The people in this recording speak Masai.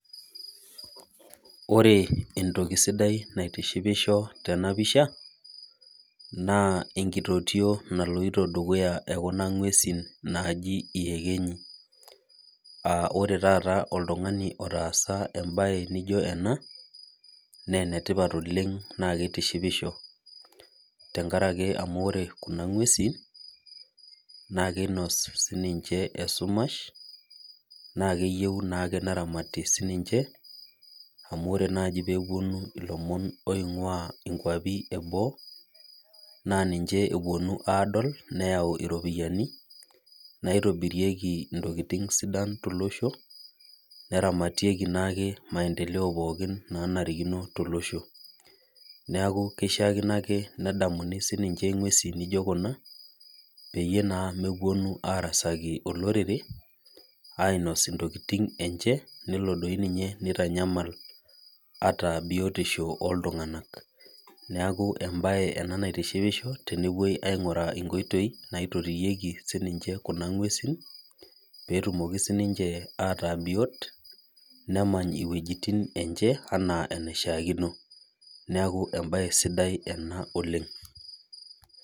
Ore entoki sidai naitishipisho tenapisha na enkitotio naliti dukuya naji iekenyi aa ore taata oltungani otasa embae nijo ena ne enetipat oleng na kitishipisho tenkaraki ore kuna ngwesi na kenya sinche esumash na keyieu ake neramati sinche amu ore nai eneponu lomon oingia nkwapi eboo na ninche eponu adol neyau iropiyiani naitobirieki ntokitin sidan tolosho neramatieki ntokitin nanarikino tolosho neaku kishaakino ake nedamuni ake ngwesi nijo kuna pemeponu ake arasaki olororere nitanyamal ataa biotisho oltungani neaku embae ena naitishipisho tenepuoi aingoru enkoitoi naitotiyoki sininche kuna ngwesi petumoki ataa biot nemany iwuejitin enye ana enishaakono neaku embae sidai oleng.